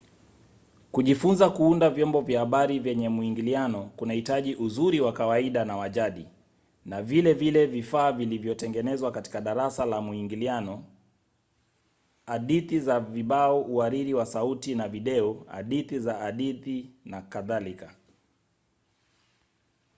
kujifunza kuunda vyombo vya habari vyenye mwingiliano kunahitaji ujuzi wa kawaida na wa jadi na vile vile vifaa vilivyotengenezwa katika darasa la mwingiliano hadithi za vibao uhariri wa sauti na video hadithi za hadithi nk.